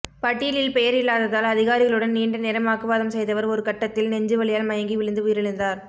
பட்டியலில் பெயர் இல்லாததால் அதிகாரிகளுடன் நீண்ட நேரம் வாக்குவாதம் செய்தவர் ஒருகட்டத்தில் நெஞ்சுவலியால் மயங்கி விழுந்து உயிரிழந்தார்